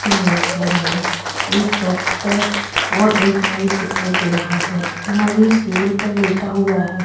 इस इमेज में हमें एक डॉक्टर और एक मरीज दिखाई दे रहा है मरीज टेबल पर लेटा हुआ हैं।